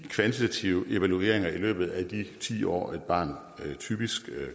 kvantitative evalueringer i løbet af de ti år et barn typisk